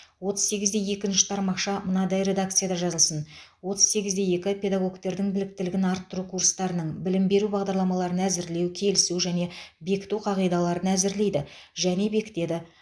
отыз сегізде екінші тармақша мынадай редакцияда жазылсын отыз сегізде екі педагогтердің біліктілігін арттыру курстарының білім беру бағдарламаларын әзірлеу келісу және бекіту қағидаларын әзірлейді және бекітеді